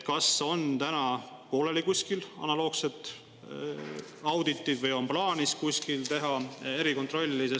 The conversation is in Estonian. Kas kuskil neis on pooleli analoogseid auditeid või on plaanis teha erikontrolli?